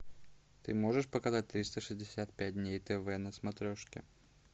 ты можешь показать триста шестьдесят пять дней тв на смотрешке